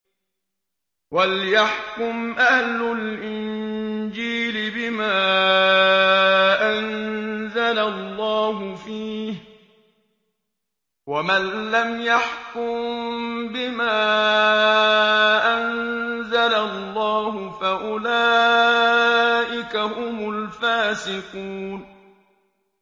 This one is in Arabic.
وَلْيَحْكُمْ أَهْلُ الْإِنجِيلِ بِمَا أَنزَلَ اللَّهُ فِيهِ ۚ وَمَن لَّمْ يَحْكُم بِمَا أَنزَلَ اللَّهُ فَأُولَٰئِكَ هُمُ الْفَاسِقُونَ